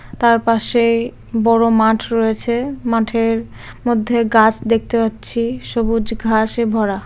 তার পাশেই বড় মাঠ রয়েছে মাঠের মধ্যে গাছ দেখতে পাচ্ছি সবুজ ঘাসে ভরা।